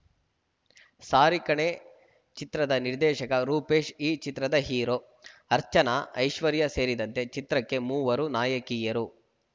ಸಾರಿ ಕಣೇ ಚಿತ್ರದ ನಿರ್ದೇಶಕ ರೂಪೇಶ್‌ ಈ ಚಿತ್ರದ ಹೀರೋ ಅರ್ಚನಾ ಐಶ್ವರ್ಯ ಸೇರಿದಂತೆ ಚಿತ್ರಕ್ಕೆ ಮೂವರು ನಾಯಕಿಯರು